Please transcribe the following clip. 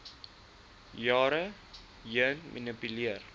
jare heen gemanipuleer